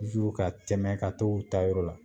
Zu ka tɛmɛ ka t'u taa yɔrɔ la